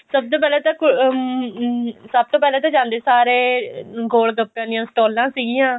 ਸਭ ਤੋਂ ਪਹਿਲਾਂ ਅਮ ਸਭ ਤੋਂ ਪਿਹਲਾਂ ਤਾਂ ਜਾਂਦੇ ਸਾਰ ਈ ਗੋਲਗੱਪੈਆਂ ਦੀਆਂ ਸਟਾਲਾਂ ਸੀਗੀਆਂ